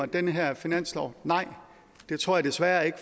den her finanslov alle nej det tror jeg desværre ikke